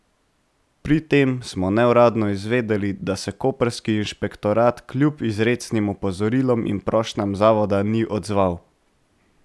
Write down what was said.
Pri tem smo neuradno izvedeli, da se koprski inšpektorat kljub izrecnim opozorilom in prošnjam zavoda ni odzval.